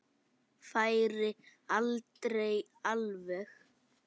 Færi aldrei alveg.